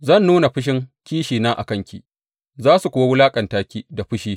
Zan nuna fushin kishina a kanki, za su kuwa wulaƙanta ki da fushi.